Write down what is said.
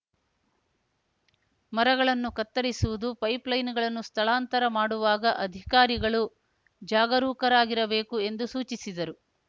ಮರಗಳನ್ನು ಕತ್ತರಿಸುವುದು ಪೈಪ್‌ಲೈನ್‌ಗಳನ್ನು ಸ್ಥಳಾಂತರ ಮಾಡುವಾಗ ಅಧಿಕಾರಿಗಳು ಜಾಗರೂಕರಾಗಿರಬೇಕು ಎಂದು ಸೂಚಿಸಿದರು